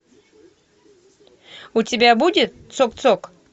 у тебя будет цок цок